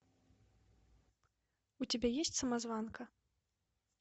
у тебя есть самозванка